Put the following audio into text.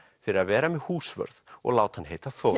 fyrir að vera með húsvörð og láta hann heita Þórð